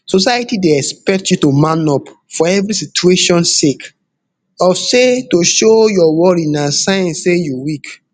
society dey expect you to man up for evri situation sake of say to show your worry na sign say you weak